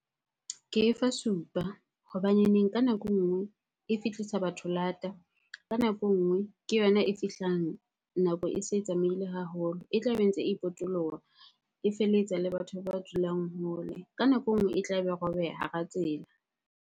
Ke efa supa hobaneneng ka nako e nngwe e fihlisa batho lata, ka nako e nngwe ke yona e fihlang nako e se tsamaile haholo. E tlabe e ntse e potoloha, e feletsa le batho ba dulang hole. Ka nako e nngwe e tlabe e robeha hara tsela.